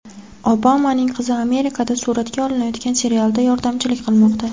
Obamaning qizi Amerikada suratga olinayotgan serialda yordamchilik qilmoqda .